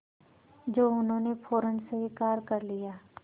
जो उन्होंने फ़ौरन स्वीकार कर लिया